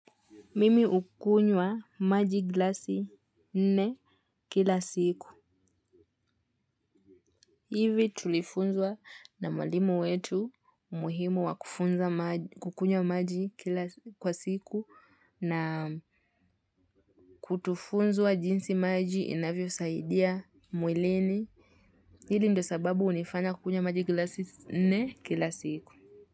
Mimi ukunywa maji glasi nne kila siku. Hivi tulifunzwa na mwalimu wetu muhimu wa kukunywa maji kila siku na kutufunzwa jinsi maji inavyo saidia mwilini. Hili ndo sababu unifanya kukunywa maji glasi nne kila siku.